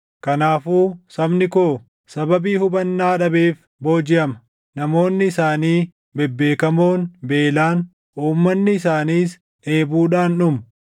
Kanaafuu sabni koo sababii hubannaa dhabeef boojiʼama; namoonni isaanii bebbeekamoon beelaan, uummanni isaaniis dheebuudhaan dhumu.